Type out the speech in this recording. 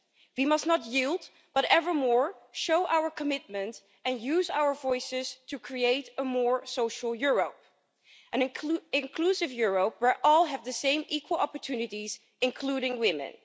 We must not yield, but evermore show our commitment and use our voices to create a more social Europe an inclusive Europe where all have the same equal opportunities, including women.